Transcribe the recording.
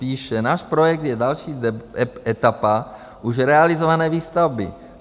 Píše: Náš projekt je další etapa už realizované výstavby.